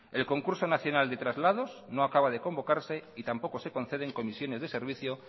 el concurso nacional de traslados no acaba de convocarse y tampoco se conceden comisiones de servicios